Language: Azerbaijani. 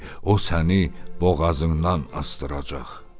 O səni boğazından asdıracaq.